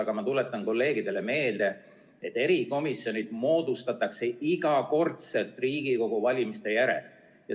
Aga ma tuletan kolleegidele meelde, et erikomisjonid moodustatakse iga kord Riigikogu valimiste järel.